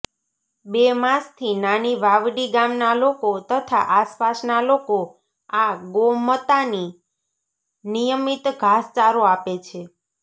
બે માસથી નાની વાવડી ગામના લોકો તથા આસપાસના લોકો આ ગોમતાની નિયમિત ઘાસચારો આપે છે